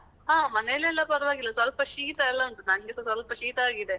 ಹಾ, ಮನೆಲೆಲ್ಲಾ ಪರ್ವಾಗಿಲ್ಲ ಸ್ವಲ್ಪ ಶೀತ ಎಲ್ಲ ಉಂಟು, ನಂಗೆಸಾ ಸ್ವಲ್ಪ ಶೀತ ಆಗಿದೆ.